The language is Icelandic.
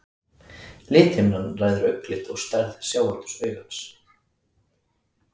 Lithimnan ræður augnlit og stærð sjáaldurs augans.